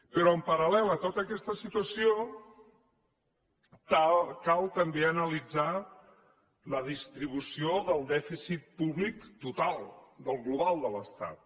però en paral·lel a tota aquesta situació cal també analitzar la distribució del dèficit públic total del global de l’estat